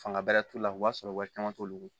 Fanga bɛrɛ t'u la o b'a sɔrɔ wari caman t'olu bolo